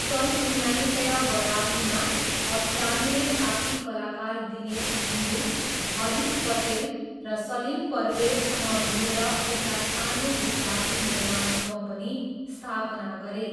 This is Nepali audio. सन् उन्नाइस सय बयासीमा असरानीले साथी कलाकार दिनेश हिङ्गू, हरिश पटेल र सलिम परवेजसँग मिलेर एउटा सानो गुजराती निर्माण कम्पनी स्थापना गरे।